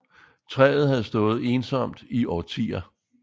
Træet havde stået ensomt i årtier